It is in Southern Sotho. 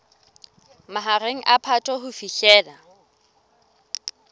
mahareng a phato ho fihlela